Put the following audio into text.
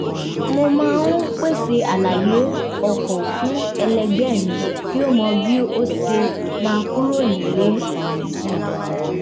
mo máa ń pèsè àlàyé ọkọ̀ fún ẹlẹgbẹ́ mi kí ó mọ bí a ṣe máa kúrò nílé